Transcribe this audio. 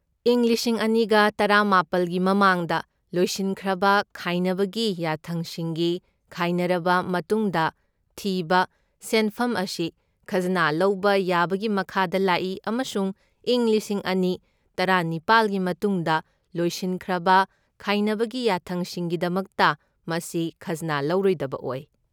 ꯏꯪ ꯂꯤꯁꯤꯡ ꯑꯅꯤꯒ ꯇꯔꯥꯃꯥꯄꯜꯒꯤ ꯃꯃꯥꯡꯗ ꯂꯣꯏꯁꯤꯟꯈ꯭ꯔꯕ ꯈꯥꯏꯅꯕꯒꯤ ꯌꯥꯊꯪꯁꯤꯡꯒꯤ ꯈꯥꯏꯅꯔꯕ ꯃꯇꯨꯡꯗ ꯊꯤꯕ ꯁꯦꯟꯐꯝ ꯑꯁꯤ ꯈꯖꯅꯥ ꯂꯧꯕ ꯌꯥꯕꯒꯤ ꯃꯈꯥꯗ ꯂꯥꯛꯏ ꯑꯃꯁꯨꯡ ꯏꯪ ꯂꯤꯁꯤꯡ ꯑꯅꯤ ꯇꯔꯥꯅꯤꯄꯥꯜꯒꯤ ꯃꯇꯨꯡꯗ ꯂꯣꯏꯁꯤꯟꯈ꯭ꯔꯕ ꯈꯥꯏꯅꯕꯒꯤ ꯌꯥꯊꯪꯁꯤꯡꯒꯤꯗꯃꯛꯇ, ꯃꯁꯤ ꯈꯖꯅꯥ ꯂꯧꯔꯣꯏꯗꯕ ꯑꯣꯏ꯫